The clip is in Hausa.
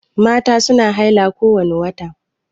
Mata su na haila kowani wata